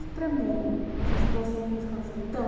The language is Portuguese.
Para Você estudou sempre em escola de estado?